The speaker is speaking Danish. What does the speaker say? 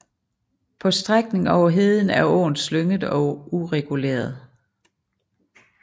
På strækningen over heden er åen slynget og ureguleret